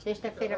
Sexta-feira.